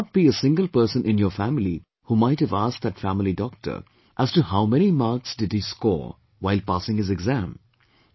There would not be a single person in your family who might have asked that family doctor as to how many marks did he score while passing his exam